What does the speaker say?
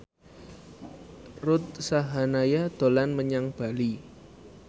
Ruth Sahanaya dolan menyang Bali